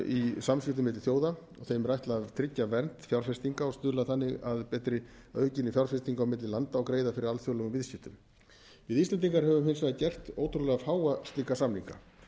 í samskiptum milli þjóða þeim er ætlað að tryggja vernd fjárfestinga og stuðla þannig að aukinni fjárfestingu á milli landa og greiða fyrir alþjóðlegum viðskiptum við íslendingar höfum hins vegar gert ótrúlega fáa slíka samninga